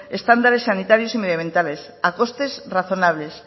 estándares sanitarios y medioambientales a costes razonables